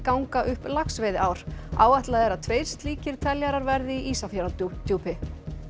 ganga upp laxveiðiár áætlað er að tveir slíkir teljarar verði í Ísafjarðardjúpi